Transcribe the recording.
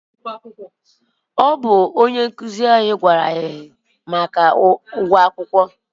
ọ bụ onye nkụzi anyị gwara anyị maka ụgwọ akwụkwọ.